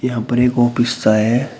यहां पर एक ऑफिस सा है।